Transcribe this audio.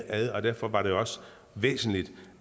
ad og derfor var det også væsentligt